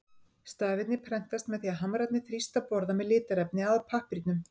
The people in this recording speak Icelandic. Stafirnir prentast með því að hamrarnir þrýsta borða með litarefni að pappírnum.